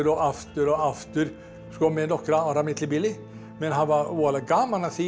aftur og aftur með nokkurra ára millibili menn hafa voðalega gaman af því að